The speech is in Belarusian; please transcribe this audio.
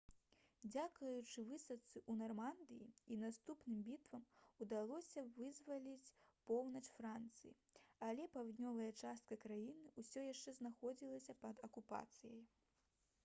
дзякуючы высадцы ў нармандыі і наступным бітвам удалося вызваліць поўнач францыі але паўднёвая частка краіны ўсё яшчэ знаходзілася пад акупацыяй